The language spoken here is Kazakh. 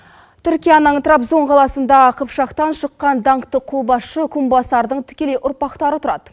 түркияның трабзон қаласында қыпшақтан шыққан даңқты қолбасшы кумбасардың тікелей ұрпақтары тұрады